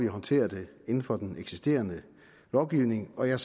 håndtere det inden for den eksisterende lovgivning og jeg